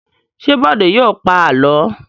Ṣé Bọ̀dé yóò pa àlọ́?